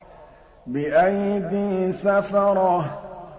بِأَيْدِي سَفَرَةٍ